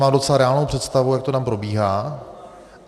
Mám docela reálnou představu, jak to tam probíhá.